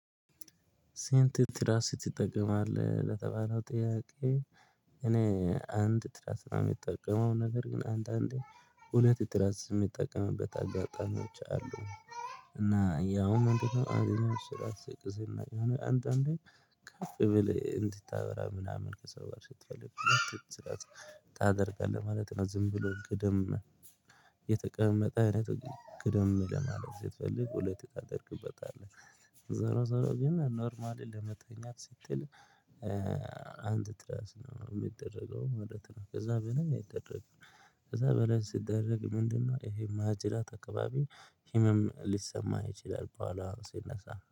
ስንት ትራስ ትጠቀማለህ ለተባለው ጥያቄ? እኔ አንድ ትራስ ነው የሚጠቀመው ነገር ግን አንዳንዴ ሁለት ትራስ የሚጠቀምበት አጋጣሚዎች አሉ። እና ያውም አንድ ትራስ ስቅስና የሆነ አንድ አንድ እንዴ ከፍ ብለህ እንድታወራ ምናምን ከሰው ጋር ስትፈልግ ሁለት ትራስ ታደርጋለህ ማለት ነው። ዝም ብሎ ቅደም የተቀመጠ አይነት ጋደም ለማለት ስትፈልግ ሁለት ታደርግበታለህ። ዞሮ ዞሮ ግን ኖርማሊ ለመተኛት ስትል አንድ ትረስ ነው የሚደረገው ማለት ነው። ከዛ በላይ አይደረግም። ከዛ በላይ ሲደረግ ምንድነው? ይሄ ማጅራት አካባቢ ህመም ሊሰማ ይችላል በኋላ ሲነሳ